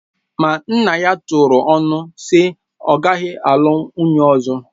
Ma nna ya turu ọnụ na ọ ga-alụ nwunye ọzọ